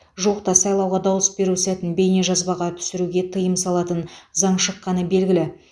жуықта сайлауға дауыс беру сәтін бейнежазбаға түсіруге тыйым салатын заң шыққаны белгілі